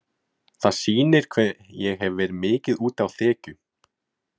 Það sýnir hve ég hef verið mikið úti á þekju.